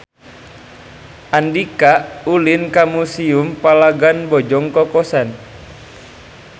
Andika ulin ka Museum Palagan Bojong Kokosan